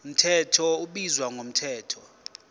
mthetho ubizwa ngomthetho